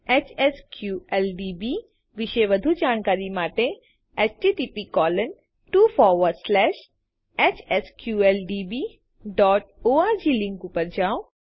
HSQLDB વિશે વધું જાણકારી માટે httphsqldborg લીંક ઉપર જાઓ